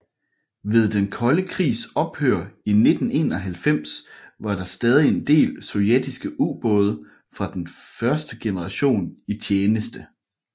Ved den kolde krigs ophør i 1991 var der stadig en del sovjetiske ubåde fra den første generation i tjeneste